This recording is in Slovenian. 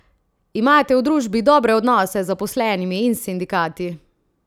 Imate v družbi dobre odnose z zaposlenimi in sindikati?